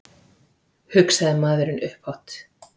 hugsaði maðurinn upphátt.